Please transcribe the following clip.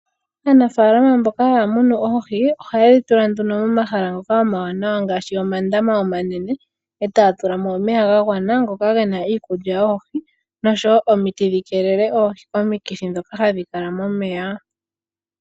Aanafaalama mboka haa munu oohi ohaye dhi tula nduno momahala ngoka omawaanawa ngaashi omandama omanene etaa tula mo omeya gagwana ngoka gena iikulya yoohi, nosho woo omiti dhi keelele oohi komikithi dhoka hadhi kala momeya.